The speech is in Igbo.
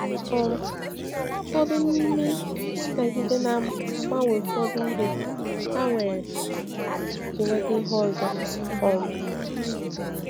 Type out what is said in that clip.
um Ụfọdụ n’ime ndị ndagide na-agbanwe ụfọdụ ihe ha nwere nwere iji nweta ihe ọzọ. um